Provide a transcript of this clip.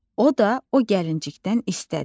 O da o gəlincikdən istədi.